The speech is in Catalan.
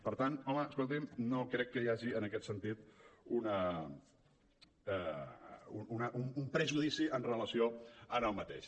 per tant home escolti’m no crec que hi hagi en aquest sentit un prejudici amb relació a aquest